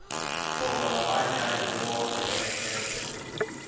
Thogora wa nyanya nĩ wongererekete